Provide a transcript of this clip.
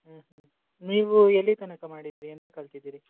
ಹ್ಮ್ ಹ್ಮ್ ನೀವ್ ಎಲ್ಲಿ ತನಕ ಮಾಡಿದ್ರಿ ಎಂತ ಕಲ್ತಿದ್ರಿ?